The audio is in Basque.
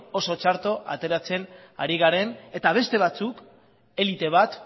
oso txarto ateratzen ari garen eta beste batzuk elite bat